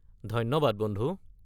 ধন্যবাদ বন্ধু।